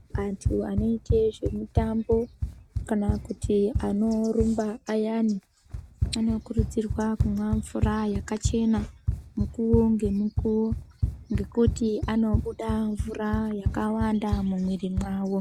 Antu anoite zvemitambo kana kuti anorumba ayani anokurudzirwa kumwa mvura yakachena mukuwo ngemukuwo ngekuti anobuda mvura yakawanda mumwiri mwawo.